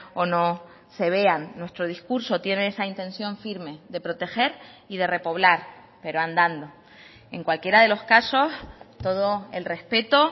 o no se vean nuestro discurso tiene esa intención firme de proteger y de repoblar pero andando en cualquiera de los casos todo el respeto